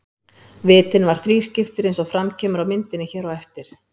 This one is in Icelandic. Vitinn var þrískiptur eins og fram kemur á myndinni hér á eftir.